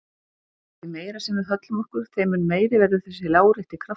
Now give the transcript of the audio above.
því meira sem við höllum okkur þeim mun meiri verður þessi lárétti kraftur